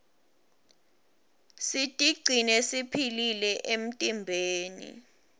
sitigcine siphilile emtimbeni